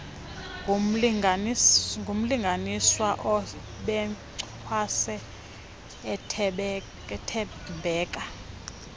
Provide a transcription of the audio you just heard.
ngumlinganiswa obencwase uthembeka